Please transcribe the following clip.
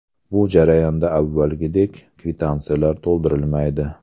Bu jarayonda avvalgidek kvitansiyalar to‘ldirilmaydi.